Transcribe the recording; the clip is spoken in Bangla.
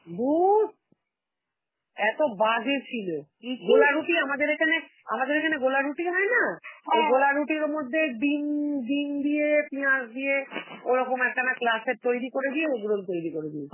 ধুর এত বাজে ছিল, গোলা রুটি আমাদের এখানে~ আমাদের এখানে গোলা রুটি হয় না? ওই গোলা রুটির মধ্যে ডিম~ ডিম দিয়ে, পেঁয়াজ দিয়ে ওরকম একটা না তৈরি করে দিয়ে, egg roll তৈরি দিয়েছিল.